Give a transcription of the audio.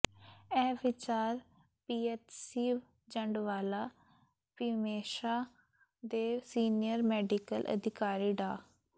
ਇਹ ਵਿਚਾਰ ਪੀਐਚਸੀ ਜੰਡਵਾਲਾ ਭੀਮੇਸ਼ਾਹ ਦੇ ਸੀਨੀਅਰ ਮੇਡੀਕਲ ਅਧਿਕਾਰੀ ਡਾ